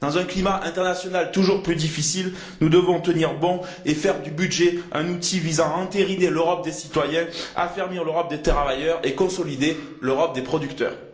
Dans un climat international toujours plus difficile, nous devons tenir bon et faire du budget un outil visant à entériner l'Europe des citoyens, à affermir l'Europe des travailleurs et à consolider l'Europe des producteurs.